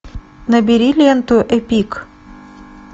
набери ленту эпик